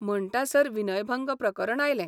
म्हणटासर विनयभंग प्रकरण आयलें.